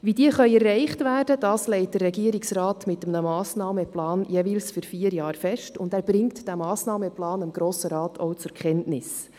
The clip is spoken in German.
Wie sie erreicht werden können, legt der Regierungsrat mit einem Massnahmenplan für jeweils vier Jahre fest und bringt diesen dem Grossen Rat zur Kenntnis.